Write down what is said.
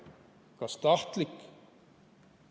Kas tahtlik?